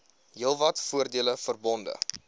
heelwat voordele verbonde